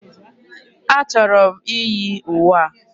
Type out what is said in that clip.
A chọrọ m iyi uwe a.